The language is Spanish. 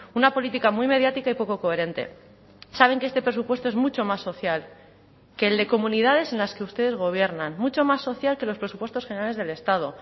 una política muy mediática y poco coherente saben que este presupuesto es mucho más social que el de comunidades en las que ustedes gobiernan mucho más social que los presupuestos generales del estado